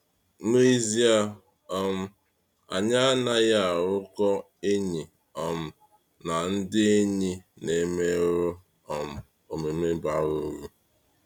N'ezie, um anyị anaghị arụkọ enyi um na ndị enyi ‘na-emerụ um omume bara uru.’